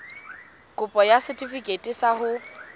kopo ya setefikeiti sa ho